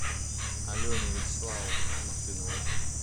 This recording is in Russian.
алене вячеславовне мартыновой